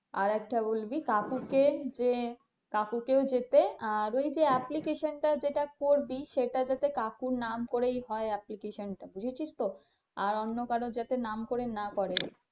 আর একটা বলবি কাকুকে যে কাকুকেও যেতে, আর ওই যে application টা যেটা করবি সেটা যাতে কাকুর নাম করেই হয় application টা বুঝেছিস তো, আর অন্য কারো যাতে নাম করে না করে।